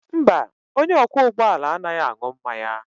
Mba, onye ọkwọ ụgbọ ala anaghị aṅụ mmanya